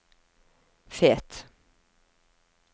Fet